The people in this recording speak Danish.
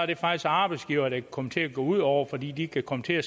det faktisk arbejdsgiverne komme til at gå ud over fordi de kan komme til at